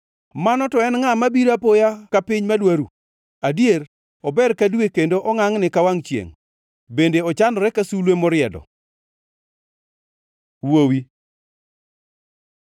Ma to en ngʼa mabiro apoya ka piny madwa ru? Adier, ober ka dwe kendo ongʼangʼni ka wangʼ chiengʼ, bende ochanore ka sulwe moriedo. Wuowi